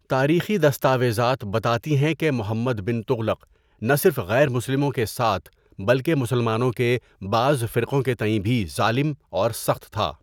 تاریخی دستاویزات بتاتی ہیں کہ محمد بن تغلق نہ صرف غیر مسلموں کے ساتھ بلکہ مسلمانوں کے بعض فرقوں کے تئیں بھی ظالم اور سخت تھا۔